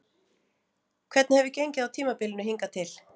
Hvernig hefur gengið á tímabilinu hingað til?